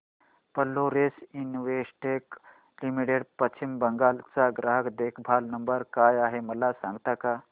Florence Investec limited Paschim Bengal चा ग्राहक देखभाल नंबर काय आहे मला सांगता का